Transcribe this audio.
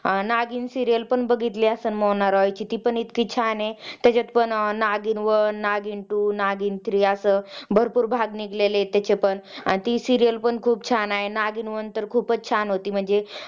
नागीण serial पण बाहीतली असेल कि ती मोना रॉय ती पण इतकी छान हे त्याच्यात पण Naagin one Naagin two Naagin three भरपूर भाग निघलेले आहे तेचे पण serial खूप छान आहे आणि नागिन one खूप छान होती म्हणजे